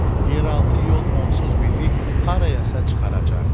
Yeraltı yol onsuz bizi harayasa çıxaracaq.